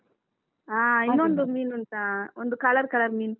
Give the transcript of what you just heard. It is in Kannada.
ಹಾ ಇನ್ನೊಂದು ಮೀನ್ಉಂಟಾಒಂದು color color ಮೀನ್.